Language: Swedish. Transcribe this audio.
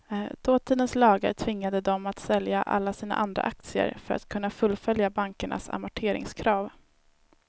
Dåtidens lagar tvingade dem att sälja alla sina andra aktier för att kunna fullfölja bankernas amorteringskrav.